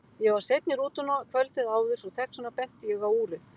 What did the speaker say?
Ég var seinn í rútuna kvöldið áður svo þess vegna benti ég á úrið.